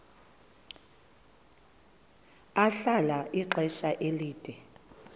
ahlala ixesha elide